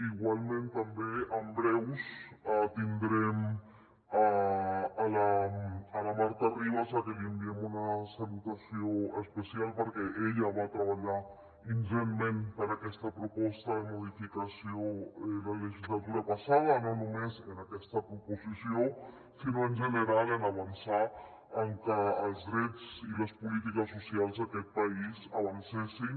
igualment també en breu tindrem la marta ribas a qui li enviem una salutació especial perquè ella va treballar ingentment per aquesta proposta de modificació la legislatura passada no només en aquesta proposició sinó en general en avançar en que els drets i les polítiques socials d’aquest país avancessin